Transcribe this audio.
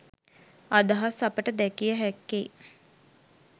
අදහස් අපට දැකිය හැක්කේ